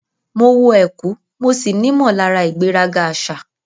Mo wọ ẹ̀kú mo sì nímọ̀lára ìgbéraga àṣà.